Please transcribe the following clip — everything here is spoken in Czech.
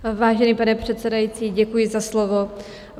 Vážený pane předsedající, děkuji za slovo.